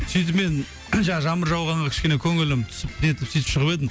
сөйтіп мен жаңағы жаңбыр жауғанға кішкене көңілім түсіп нетіп сөйтіп шығып едім